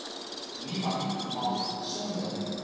niemand mag sonder